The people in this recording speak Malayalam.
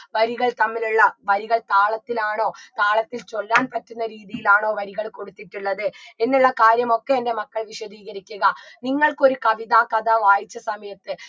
വരികൾ തമ്മിലുള്ള വരികൾ താളത്തിലാണോ താളത്തിൽ ചൊല്ലാൻ പറ്റുന്ന രീതിയിലാണോ വരികൾ കൊടുത്തിട്ടുള്ളത് എന്നുള്ള കാര്യങ്ങമൊക്കെ എൻറെ മക്കൾ വിശദീകരിക്കുക നിങ്ങൾക്കൊരു കവിത കഥ വായിച്ച സമയത്ത്